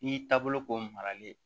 I y'i taabolo k'o maralen ye